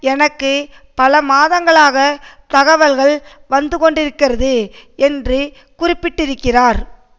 எனக்கு பல மாதங்களாக தகவல்கள் வந்து கொண்டிருக்கிறது என்று குறிப்பிட்டிருக்கிறார்